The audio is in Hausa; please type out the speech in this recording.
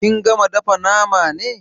Kin gama dafa name ne?